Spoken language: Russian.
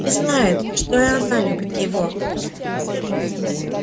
и знает что она любит его